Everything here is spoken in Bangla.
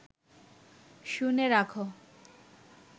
শুনে রাখ